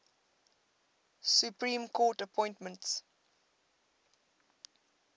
supreme court appointments